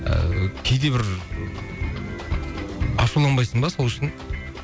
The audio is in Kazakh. ыыы кейде бір ашуланбайсың ба сол үшін